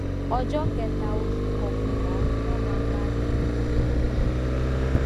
ọjó kẹta oṣù kọkànlá ni wón máa parí ìpolówó náà